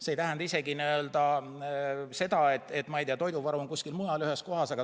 See ei tähenda isegi seda, et toiduvaru on kuskil mujal ühes kohas.